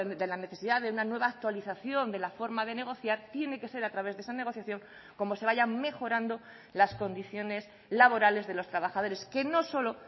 de la necesidad de una nueva actualización de la forma de negociar tiene que ser a través de esa negociación como se vayan mejorando las condiciones laborales de los trabajadores que no solo